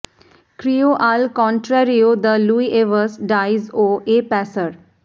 cryo আল কনট্র্যারিয়ো দ্য লুই এভাস্ট ডাইস ও এ প্যাসার